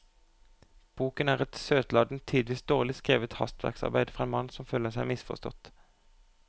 Boken er et søtladent, tidvis dårlig skrevet hastverksarbeid fra en mann som føler seg misforstått.